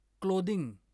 clothing